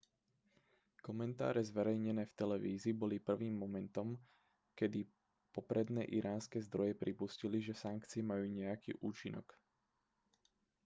komentáre zverejnené v televízii boli prvým momentom kedy popredné iránske zdroje pripustili že sankcie majú nejaký účinok